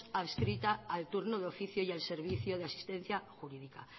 adscrita al turno de oficio y al servicio de asistencia jurídica